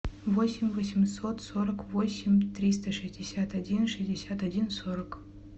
восемь восемьсот сорок восемь триста шестьдесят один шестьдесят один сорок